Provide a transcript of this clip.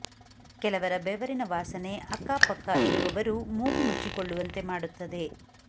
ಕೆಲವರ ಬೆವರಿನ ವಾಸನೆ ಅಕ್ಕ ಪಕ್ಕ ಇರುವವರು ಮೂಗು ಮುಚ್ಚಿಕೊಳ್ಳುವಂತೆ ಮಾಡುತ್ತದೆ